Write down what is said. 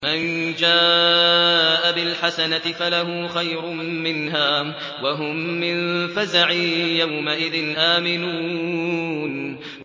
مَن جَاءَ بِالْحَسَنَةِ فَلَهُ خَيْرٌ مِّنْهَا وَهُم مِّن فَزَعٍ يَوْمَئِذٍ آمِنُونَ